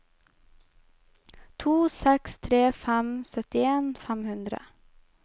to seks tre fem syttien fem hundre